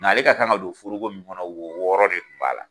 Nka ale ka kan don forogo min kɔnɔ wo wɔɔrɔ de kun b'a la.